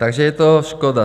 Takže je to škoda.